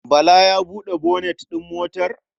Bala ya buɗe bonet ɗin motar?